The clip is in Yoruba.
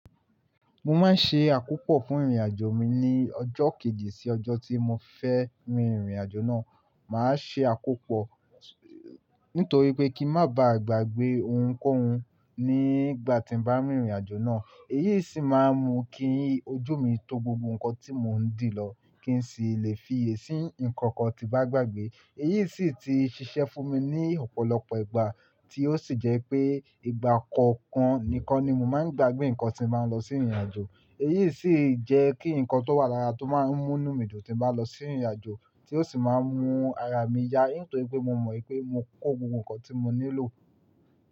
Mo máa ń ṣe àkópọ̀ fún ìrìn-àjò mi ní ọjọ́ kejì sí ọjọ́ tí mo fẹ́ rin ìrìnàjò náà. Màá ṣe àkópọ̀ nítorí pé kí ń má ba à gbàgbé ohunkóhun nígbà tí ń bá rìnrìn-àjò náà. Èyí sì máa ń mú kí ojú mi tó gbogbo nǹkan tí mò ń dì lọ kí n sì lè fiyè sí nǹkan kan tí n bá gbàgbé. Èyí sì ti ṣiṣẹ́ fún mi ní ọ̀pọ̀lọpọ̀ ìgbà, tí ó sì jẹ́ pé ìgbà kọ̀ọ̀kan nìkan ni mo máa ń gbàgbé nǹkan tí n bá ń lọ sí ìrìn-àjò. Èyí sì jẹ́ kí nǹkan tó wà lára tó máa ń múnú mi dùn tí ń bá lọ sí ìrìn-àjò, tí ó sì máa ń mú ara mi ya, nítorí pé mo mọ̀ wípé mo kó gbogbo ǹkan tí mo nílò.